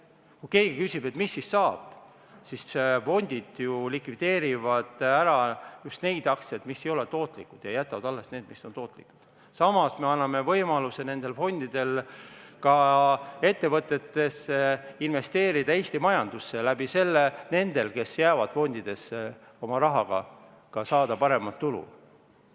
Kui keegi küsib, et mis siis saab, et fondid ju likvideerivad just neid aktsiaid, mis ei ole tootlikud, ja jätavad alles need, mis on tootlikud, siis samas anname võimaluse nendele fondidele ka investeerida Eesti majandusse ja selle kaudu nendel, kes jäävad fondidesse oma rahaga, saada ka paremat tulu.